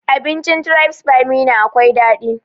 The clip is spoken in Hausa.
Abincin tribes by meena akwai daɗi